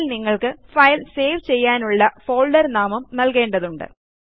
അതിൽ നിങ്ങൾക്ക് file save ചെയ്യാനുള്ള ഫോൾഡർ നാമം നൽകേണ്ടതുണ്ട്